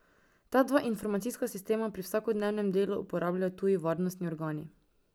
Ta dva informacijska sistema pri vsakodnevnem delu uporabljajo tuji varnostni organi.